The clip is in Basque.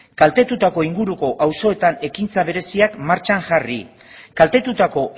kaltetutako inguruko auzoetan ekintza bereziak martxan jarri kaltetutako